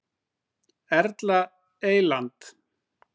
Erla Eyland.